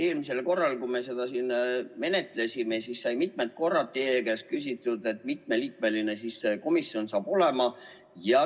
Eelmisel korral, kui me seda siin menetlesime, sai mitmel korral teie käest küsitud, kui mitme liikmeline see komisjon saab olema.